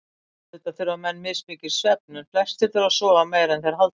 Auðvitað þurfa menn mismikinn svefn en flestir þurfa að sofa meira en þeir halda.